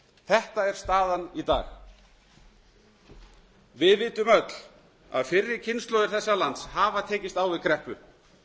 þetta er staðan í dag við vitum öll að fyrri kynslóðir þessa lands hafa tekist á við kreppu